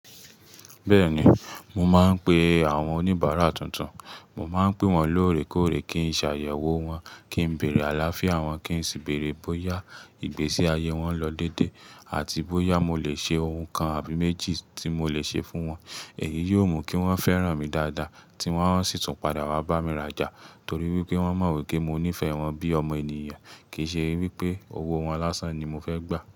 Bẹ́ẹ̀ni, mo máa ń pe àwọn oníbàárà tuntun. Mo máa ń pe wọ́n lóòrèkóòrè kí n ṣe àyẹ̀wò wọn, kí n bèèrè àlàáfíà wọn, kí n sì bèèrè bóyá ìgbésí ayé wọn lọ n dédé àti bóyá mo lè ṣe ohun kan àbí méjì tí mo lè ṣe fún wọn. Èyí yiò mú kí wọ́n fẹ́ràn mi dáadáa tí wọ́n ó sì tún padà wá bá mi rajà torí wípé wọ́n mọ̀ wípé mo nífẹ̀ẹ́ wọn bí ọmọ ènìyàn kìí ṣe wípé owó wọn lásán ni mo fẹ́ gbà.